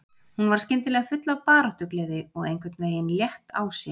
Hún var skyndilega full af baráttugleði og einhvern veginn létt á sér.